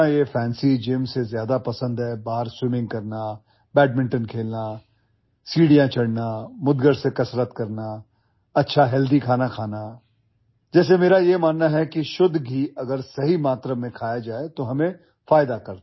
मुझे ना ये ଫାନ୍ସି ଜିମ୍ सेज्यादा पसंद है बाहर ସ୍ୱିମିଂ करना ବ୍ୟାଡମିଣ୍ଟନ खेलना सीढ़ियाँ चढ़ना मुद्गर से कसरत करना अच्छा हेल्दी खाना जैसेमेरा यह मानना है कि शुद्ध घी अगर सही मात्रा में खाया जाए तोहमें फायदा करता है